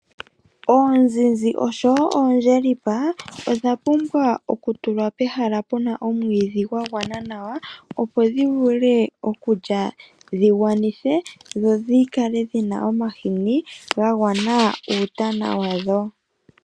Oonzinzi oshwo oondjelipa, odha pumbwa okutulwa pehala puna omwiidhi gwa gwana nawa, opo dhivule okulya dhi gwanithe, dho dhikale dhina omahini ga gwana uutana wadho.